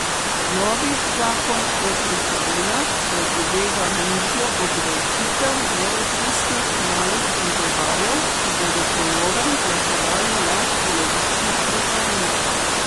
Novi zakon o trošarinah predvideva nižjo obdavčitev neodvisnih malih pivovarjev, ki bodo po novem plačevali le polovično trošarino.